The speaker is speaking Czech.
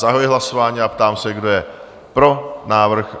Zahajuji hlasování a ptám se, kdo je pro návrh?